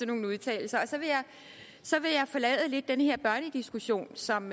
nogle udtalelser så vil jeg lidt forlade den her børnediskussion som